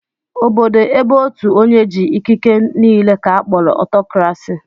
Obodo ébé ótù onye jị̀ ikiké n'ile ka a kpọrọ Ọtọkrasị